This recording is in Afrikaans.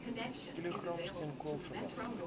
kilogram steenkool verbrand